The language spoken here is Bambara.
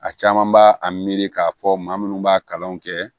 A caman b'a a miiri k'a fɔ maa munnu b'a kalanw kɛ